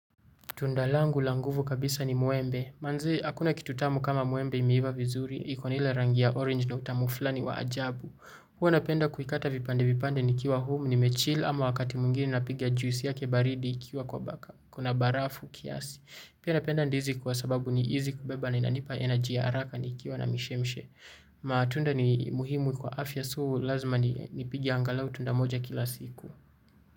Tunda langu la nguvu kabisa ni muembe. Manze hakuna kitu tamu kama muembe imeiva vizuri. Ikona ile rangi ya orange na utamu fulani wa ajabu. Huwa napenda kuikata vipande vipande nikiwa home nimechill ama wakati mwingine napiga juice yake baridi ikiwa kuna barafu kiasi. Pia napenda ndizi kwa sababu ni hizi kubeba na inanipa eneji ya haraka ni kiwa na mishemshe. Matunda ni muhimu kwa afya so, lazima ni pigia angalau tunda moja kila siku.